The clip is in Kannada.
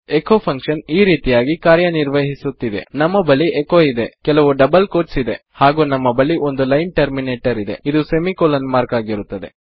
ಎಚೊ ಫಂಕ್ಷನ್ ಈ ರೀತಿಯಾಗಿ ಕಾರ್ಯ ನಿರ್ವಹಿಸುತ್ತದೆ ನಮ್ಮ ಬಳಿ ಎಚೊ ಇದೆ ಕೆಲವು ಡಬಲ್ ಕೋಟ್ಸ್ ಇದೆ ಹಾಗು ನಮ್ಮ ಬಳಿ ಒಂದು ಲೈನ್ ಟರ್ಮಿನೇಟರ ಇದೆ ಅದು ಸೆಮಿ ಕೊಲನ್ ಮಾರ್ಕ್ ಆಗಿರುತ್ತದೆ